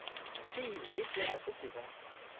fiwe efela se se ka